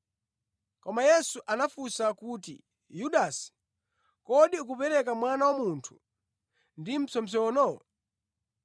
Koma Yesu anamufunsa kuti, “Yudasi, kodi ukupereka Mwana wa Munthu ndi mpsopsono?”